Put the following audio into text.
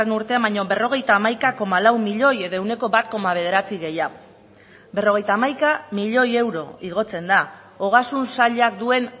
urtean baino berrogeita hamaika koma lau milioi edo ehuneko bat koma bederatzi gehiago berrogeita hamaika milioi euro igotzen da ogasun sailak duen